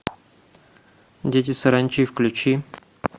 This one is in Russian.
дети саранчи включи